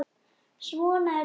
Svona er lífið!